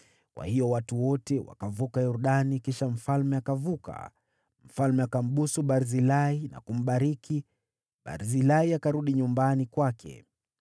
Kwa hiyo watu wote wakavuka Yordani, kisha mfalme akavuka. Mfalme akambusu Barzilai na kumbariki; Barzilai akarudi nyumbani kwake.